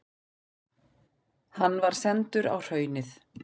Hann var sendur á Hraunið.